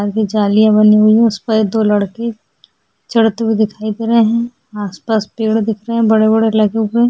आगे दो जालियां बनी हुई है जिस पर दो लड़के चढ़ते हुए दिखाई दे रहे हैं आसपास पेड़ दिख रहे बड़े-बड़े लगे हुए --